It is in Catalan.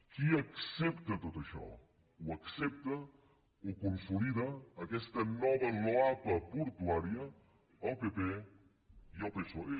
qui accepta tot això ho accepten ho consoliden aquesta nova loapa portuària el pp i el psoe